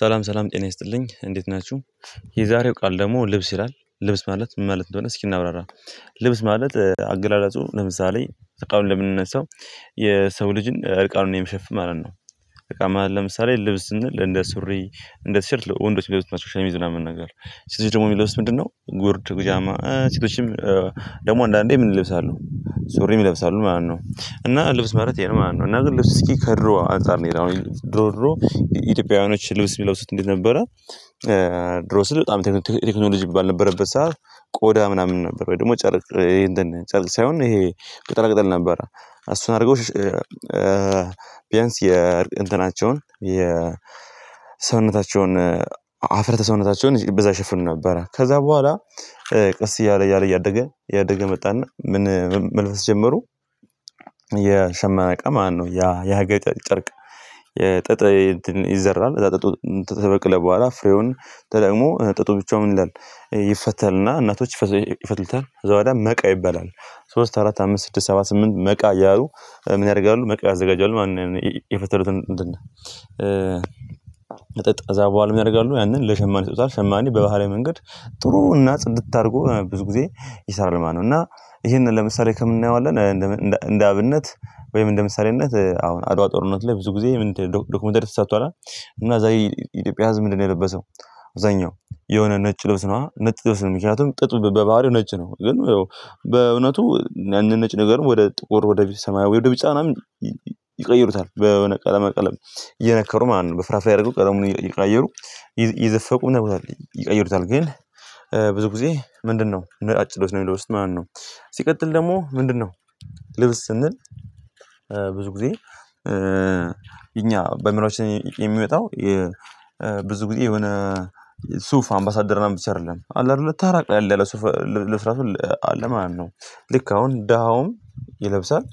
ሰላም ሰላም ጤና ይስጥልኝ እንዴት ናችሁ። የዛሬው ቃል ደግሞ ልብስ ይላል ልብስ ማለት ምን ማለት እንደሆነ እስኪ እናብራራ። ልብስ ማለት አገላለጹ ለምሳሌ ከቃሉ እንደምንነሳው የሰው ልጅን እርቃኑን የሚሸፍን ማለት ነው። እርቃን ማለት ለምሳሌ ልብስ ስንል እንደ ሱሪ እንደ ቲሸርት ወንዶች የሚለብሱት ናቸው ሸሚዝ ምናምን ነገር ሴቶች ደግሞ የሚለብሱት ምንድነው? ጉርድ ብጃማ ሴቶችም ደግሞ አንዳንዴ ምን ይለብሳሉ? ሱሪም ይለብሳሉ ማለት ነው እና ልብስ ማለት ይሄ ነው ማለት ነው። እና ግን ልብስ እስኪ ከድሮ አንፃር ነው ይላል አሁን ድሮ ኢትዮጵያውያኖች ልብስ የሚለብሱት እንዴት ነበረ? ድሮ ስል በጣም ቴክኖሎጂ ባልነበረበት ሰዓት ቆዳ ምናምን ነበር ወይ ደግሞ ጨርቅ ይሄን ጨርቅ ሳይሆን ይሄ ቅጠላ ቅጠል ነበር። አስተናግዶች ቢያንስ የእንትናቸውን ሰውነታቸውን አፍርተ ሰውነታቸውን በዛ ይሸፍኑ ነበረ ከዛ በኋላ ቀስ እያለ እያለ እያደገ እያደገ መጣና ምን መልፈስ ጀመሩ። የሸማቃ ማለት ነው ያ ያሀገር ጨርቅ የጥጥ ይዘራል ከዛ ጥጡ ከበቀለ በኋላ ፍሬውን ተጠቅሞ ጥጡ ብቻውን ይላል ይፈተልና እናቶች ይፈትልታል እዛው ወዲያ መቃ ይበላል። ሶስት አራት አምስት ስድስት ሰባ ስምንት መቃ እያሉ ምን ያረጋሉ መቃ ያዘጋጃሉ ማለት ነው። ያነን የፈተሉትን እንትን መጠጥ ከዛ በኋላ ምን ያረጋሉ ያነን ለሸማኔ ይሰጡታል ሸማኔ በባህላዊ መንገድ ጥሩ እና ጽድት አርጎ ብዙ ጊዜ ይሰራል ማለት ነው እና እሄንን ለምሳሌ ከምን አናየዋለን? እንደ አብነት ወይም እንደ ምሳሌነት አሁን አድዋ ጦርነት ላይ ብዙ ግዜ ዶክመንተሪ ተሰርቷል። እና እዛ የኢትዮጵያ ህዝብ ምንድነው የለበሰው? አብዛኛው የሆነ ነጭ ልብስ ነው ነጭ ልብስ ነው ምክንያቱም ጥጥ በባህሪው ነጭ ነው። ግን በእውነቱ ያነን ነጭ ነገር ወደ ጥቁር ወደ ሰማዊ ወደ ቢጫናም ይቀይሩታል በወነ ቀለመ ቀለም እየነከሩ ማለት ነው በፍራፍሬ አድረገው ቀለሙን እየቀያየሩ እየዘፈቁ ይቀይሩታል ግን ብዙ ግዜ ምንድነው ነጫጭ ልብስ ነው ሚለብሱት ማለት ነው። ሲቀጥል ደሞ ምንድነው? ልብስ ስንል ብዙ ግዜ እኛ በአይምሮአችን የሚወጣው ብዙ ግዜ የሆነ ሱፍ አምባሳደር ምናምን ብቻ አደለም አለ አደለ ተራ ቀለል ያለ ሱፍ ልብስ አለ ማለት ነው። ልክ አሁን ዳሁውም ይለብሳል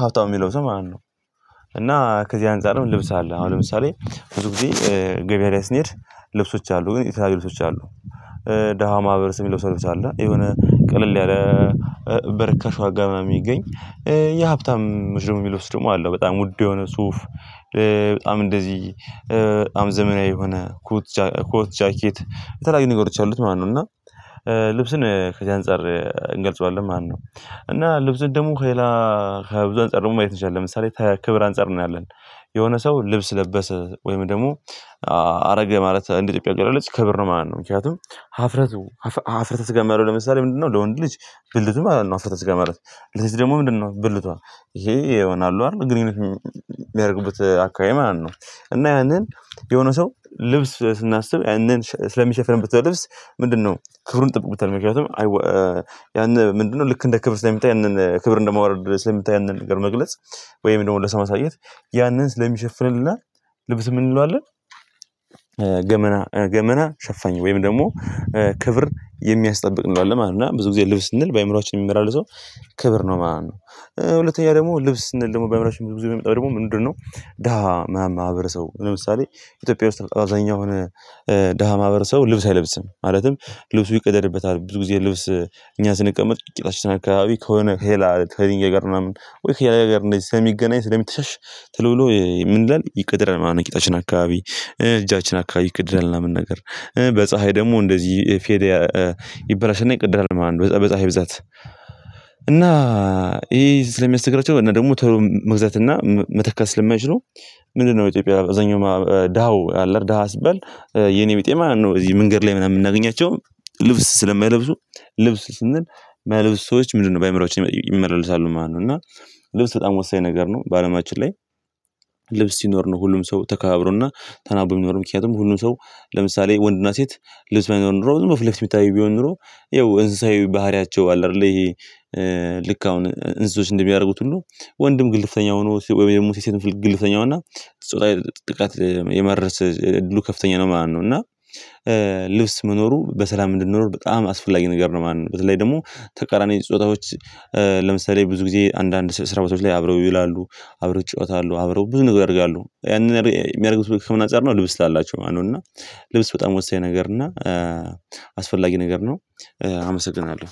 ሀብታሙም ይለብሳል ማለት ነው። እና ከዚህ አንፃር ነው ልብስ አለ አሁን ለምሳሌ ብዙ ጊዜ ገበያ ላይ ስንሄድ ልብሶች አሉ ግን የተለያዩ ልብሶች አሉ። ደሃው ማህበረሰብ ሚለብሰው ልብስ አለ የሆነ ቀለል ያለ በርካሽ ዋጋ ምናምን ሚገኝ እኛ ሀብታሞች ደሞ ሚለብሱውት ደሞ አለ በጣም ውድ የሆነ ሱፍ። በጣም እንደዚህ በጣም ዘመናዊ የሆነ ኮት ኮት ጃኬት የተለያዩ ነገሮች ያሉት ማለት ነው። እና ልብስን ከዚህ አንፃር እንገልጸዋለን ማለት ነው። እና ልብስ ደሞ ከሌላ ከብዙ አንፃር ደሞ ማየት እንችላለን ለምሳሌ ከክብር አንፃር እናያለን። የሆነ ሰው ልብስ ለበሰ ወይም ደሞ አረገ ማለት እንደ ኢትዮጵያ አገላለጽ ክብር ማለት ነው። ምክንያቱም ሀፍረቱ ሀፍረተ ስጋ ማለት ለምሳሌ ምንድነው? ለወንድ ልጅ ብልቱ ማለት ነው። ሀፍረተ ስጋ ማለት ለሴት ደሞ ምንድነው? ብልቷ እሄ ይሆናሉ አሉ አደል ግንኙነት ሚያረጉበት አካባቢ ማለት ነው። እና ያንን የሆነ ሰው ልብስ ስናስብ። ስለሚሸፍንበት ልብስ ምንድነው ክብሩን ይጠብቁታል ምክንያቱም ያነ ምንድነው ልክ እንደ ክብር ስለሚታይ ያነን ክብር እንደማወረድ ስለሚታየ ያነን ክብር መግለጽ ወይም ደሞ ለሰው ማሳየት ያነን ስለሚሸልናል ልብስ ምን እንለዋለን? ገመና ሸፋኝ ወይም ደግሞ ክብር የሚያስጠብቅ እንለዋለን ማለት ነው። እና ብዙ ጊዜ ልብስ ስንል በአእምሮአችን የሚመላለሰው ክብር ነው ማለት ነው። ሁለተኛ ደግሞ ልብስ ስንል ደግሞ በአዕምሯችን ብዙ ብዙ የሚመጣው ደግሞ ምንድነው? ደሃ ማህበረሰው ሰው ለምሳሌ ኢትዮጵያ ውስጥ አብዛኛው የሆነ ደሃ ማህበር ሰው ልብስ አይለብስም። ማለትም ልብሱ ይቅደድበታል ብዙ ጊዜ ልብስ እኛ ስንቀመጥ ቂጣችን ከሆነ ከሌላ ከዚህ ጋር ምናምን ወይ ከሌላ ጋር እንደዚህ ስለ ስለሚገናኝ ስለሚተሻሽ ቶሎ ብሎ ምን ይላል? ይቀደዳል ቂጣችን አካባቢ እጃችን አካባቢ ይቀደዳል ምን ነገር። በፀሀይ ደግሞ እንደዚህ ፌድ ይበላሽና ይቀደዳል ማለት ነው በፀሃይ ብዛት። እና ይሄ ስለሚያስቸግራቸው እና ደግሞ መግዛት እና መተካት ስለማይችሉ ምንድነው ኢትዮጵያ አብዛኛው ደሃው አለ ደሃ ስባል የኔ ቢጤ ማለት ነው። እዚህ መንገድ ላይ ምናምን የምናገኛቸው ልብስ ስለማይለብሱ ልብስ ስንል ማይለብሱ ሰዎች ምንድነው በአእምሮአችን ይመላለሳሉ ማለት ነው። እና ልብስ በጣም ወሳኝ ነገር ነው። በአለማችን ላይ ልብስ ሲኖር ነው ሁሉም ሰው ተከባብሮና ተናቦ የሚኖሩ ምክንያቱም ሁሉም ሰው ለምሳሌ ወንድና ሴት ልብስ ባይሆን ኖሮ ዝም ፊትለፊት የሚታየው ቢሆን ኖሮ ያው እንስሳዊ ባህሪያቸው አለ አይደለ ይሄ። ልክ አሁን እንስሶች እንደሚያደርጉት ሁሉ ወንድም ግልፍተኛ ሆኖ ወይም ደግሞ ሴት ግልፍተኛው እና ጥቃት የማድረስ እድሉ ከፍተኛ ነው ማነው። እና ልብስ መኖሩ በሰላም እንድንኖር በጣም አስፈላጊ ነገር ነው ማለት ነው። በተለይ ደግሞ ተቃራኒ ጾታዎች ለምሳሌ ብዙ ጊዜ አንዳንድ ስራ ቦታዎች ላይ አብረው ይላሉ፤ አብረው ይጫወታሉ፤ አብረው ብዙ ነገር ያደርጋሉ ያንን የሚያደርግበት ከምን አጻር ነው ልብስ ስላላቸው ማለት ነው። እና ልብስ በጣም ወሳኝ ነገር እና አስፈላጊ ነገር ነው። አመሰግናለሁ።